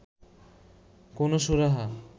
কোনো সুরাহা